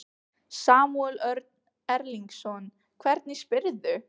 Samúel Örn Erlingsson, hvernig spyrðu?